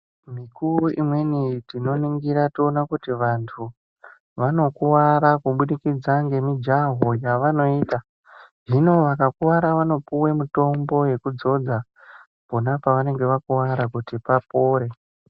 Mikuwo imweni tinoningira toona kuti vantu vanokuvara kubudikidza ngemijaho yavanoita. Hino vakakuvara vanopuwe mitombo yekudzodza pona pavanenge vakuvara kuti papore.